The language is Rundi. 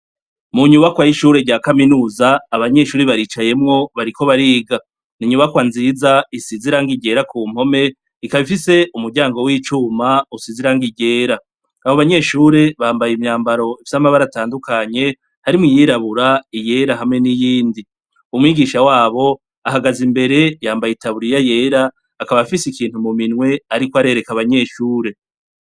Munyubakwa yishure rya kaminuza abanyeshure baricayemwo bariko bariga, ninyubakwa nziza isize irangi ryera kumpome ikaba ifise umuryango wicuma usize irangi ryera abo banyeshure bambaye imyambaro idafise amabara atandukanye harimwo iyirabura iyera hamwe n'iyindi, umwigisha wabo ahagaze imbere yambaye itaburiye yera akaba afise ikintu muminwe ariko arereka abanyeshure.